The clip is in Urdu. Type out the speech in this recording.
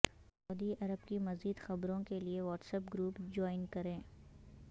سعودی عرب کی مزید خبروں کے لیے واٹس ایپ گروپ جوائن کریں